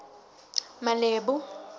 malebo